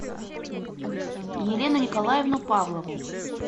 елену николаевну павлову